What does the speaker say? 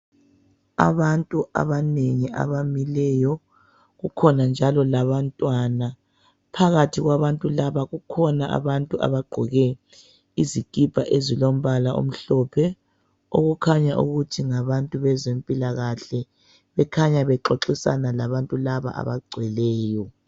Abantu abanengi abamileyo. Kukhona njalo labantwana. Phakathi kwabantu laba, kukhona abantu abagqoke izikipa ezilombala omhlophe, okukhanya ukuthi ngabantu bezempilakahle, bekhanya bexoxisana labantu laba abagcweleyo.